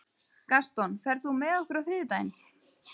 Gaston, ferð þú með okkur á þriðjudaginn?